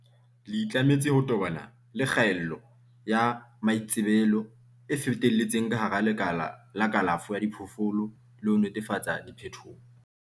le itlametse ho tobana le kgaello ya maitsebelo e fetelletseng ka hara lekala la kalafo ya diphoofolo le ho netefatsa diphethoho.